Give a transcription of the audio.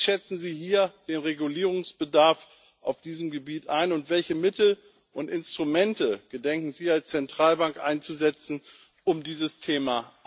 Wie schätzen Sie den Regulierungsbedarf auf diesem Gebiet ein, und welche Mittel und Instrumente gedenken Sie als Zentralbank einzusetzen, um dieses Thema